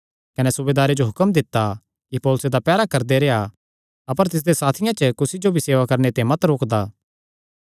कने सूबेदारे जो हुक्म दित्ता कि पौलुस दा पैहरा करदा रेह्आं अपर तिसदेयां साथियां च कुसी जो भी सेवा करणे ते मत रोकदा